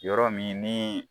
Yɔrɔ min ni